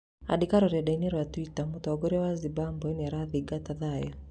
Akĩandĩka rũrendai-inĩ rwa Twitter , mũtongoria wa Zimbabwe nĩarathingatia thayũ